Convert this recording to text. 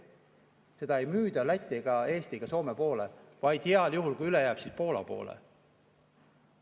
Seda ei müüda Lätti ega Eesti või Soome poole, vaid heal juhul, kui üle jääb, Poola poole.